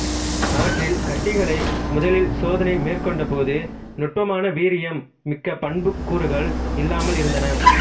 அவற்றில் கட்டிகளை முதலில் சோதனை மேற்கொண்ட போது நுட்பமான வீரியம் மிக்க பண்புக்கூறுகள் இல்லாமல் இருந்தன